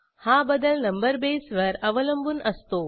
हा बदल नंबर बेसवर अवलंबून असतो